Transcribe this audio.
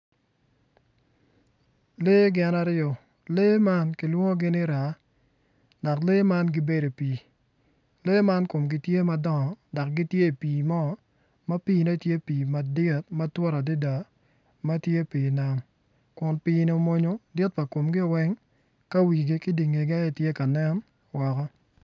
Lee gin aryo lee man kilwongo ni raa dok lee man gibedo i pii lee man komgi tye madongo dok komgi tye i pii moma piine tye pii madit ma tye ma tut adada ma tye pii nam.